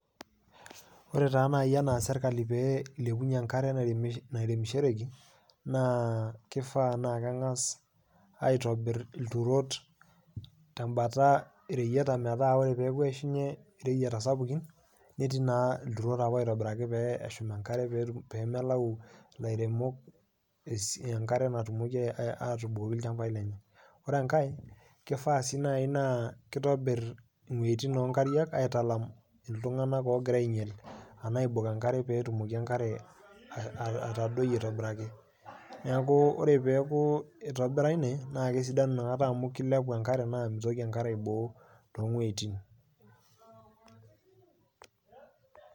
Ore taa nai enias sirkali pee eilepunye enkare naremishoreki naa keifaa naa keng'as aitobirr lturot te mbata reyieta metaa ore peepo aishunye reyieta sapukin netii naa lturot apa oitobiraki pee eshum inkarre peemelau lairemok inkare natumoki aatubukoki ilchambaii lenye, ore inkae keifaa sii naai naa keitobirr wejitin omkariak aitalam ltunganak oogira ainyal anaa aibok enkare peetumoki enkare atadoi aitobiraki, naaku ore peaku eitobira ine naa kesidanu inakata amu keiliapu enkare naa meitoki enkare aiboo too wejitin.